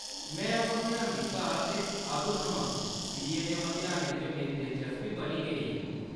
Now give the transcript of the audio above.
में ओह् मतेहान दित्ता हा ते अदूं थमां सीए दे मतेहानै च मेरी दिलचस्पी बनी गेई ही।